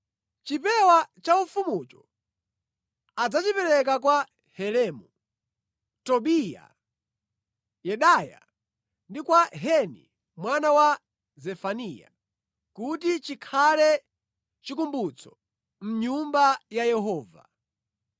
Chipewa cha ufumucho adzachipereka kwa Helemu, Tobiya, Yedaya, ndi kwa Heni mwana wa Zefaniya, kuti chikhale chikumbutso mʼNyumba ya Yehova.